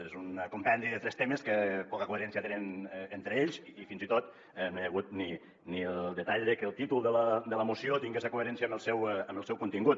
és un compendi de tres temes que poca coherència tenen entre ells i fins i tot no hi ha hagut ni el detall de que el títol de la moció tingués coherència amb el seu contingut